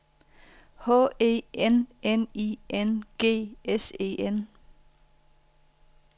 H E N N I N G S E N